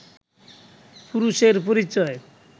পুরুষের পরিচয়